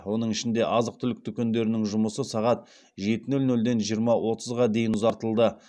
оның ішінде азық түлік дүкендерінің жұмысы сағат жеті нөл нөлден жиырма отызға дейін ұзартылды